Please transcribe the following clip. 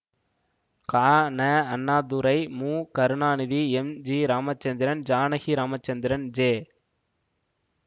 கா Na Annadurai Mu Karunanidhi M G Ramachandran Janaki Ramachandran ஜெ